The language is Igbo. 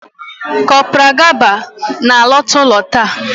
Kopral Gaba na-alọta ụlọ taa